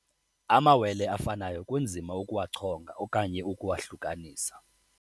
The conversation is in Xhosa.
Amawele afanayo kunzima ukuwachonga okanye ukuwahlukanisa.